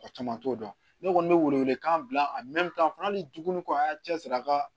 O caman t'o dɔn ne kɔni bɛ welewelekan bila a fana hali dugu kora cɛ siri a ka